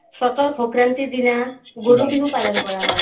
চ'তৰ সংক্ৰান্তিৰ দিনা গৰু বিহু পালন কৰা হয়